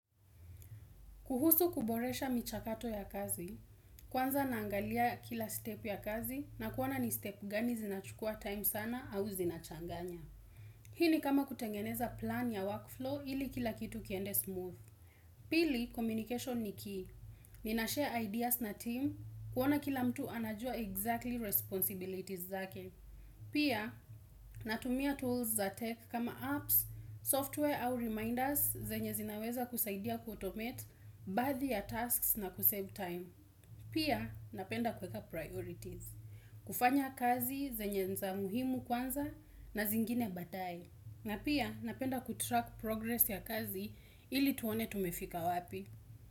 Kuhusu kuboresha michakato ya kazi, kwanza naangalia kila step ya kazi na kuona ni step gani zinachukua time sana au zinachanganya. Hii ni kama kutengeneza plan ya workflow ili kila kitu kiende smooth. Pili, communication ni key. Ni nashare ideas na team kuona kila mtu anajua exactly responsibilities zake. Pia, natumia tools za tech kama apps, software au reminders zenye zinaweza kusaidia kuautomate baadhi ya tasks na kusave time. Pia, napenda kuweka priorities. Kufanya kazi zenye za muhimu kwanza na zingine baadae. Na pia, napenda kutrack progress ya kazi ili tuone tumefika wapi.